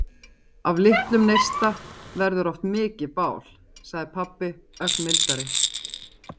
Af litlum neista verður oft mikið bál, sagði pabbi ögn mildari.